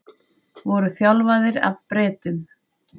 Voru þjálfaðir af Bretum